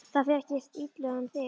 Það fer ekkert illa um þig?